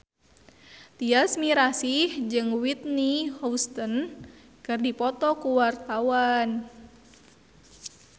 Tyas Mirasih jeung Whitney Houston keur dipoto ku wartawan